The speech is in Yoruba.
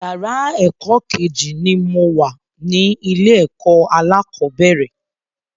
Yàrá ẹ̀kọ́ Kejì ni mo wà ní ilé ẹ̀kọ́ alákọ̀bẹ́rẹ̀